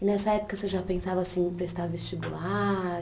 E nessa época você já pensava assim em prestar vestibular?